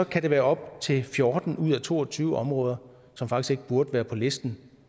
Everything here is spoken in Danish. kan det være op til fjorten ud af to og tyve områder som faktisk ikke burde være på listen